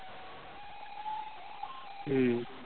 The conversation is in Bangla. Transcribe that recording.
হম